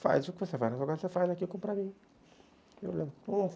Faz o que você faz, mas agora você faz aquilo para mim.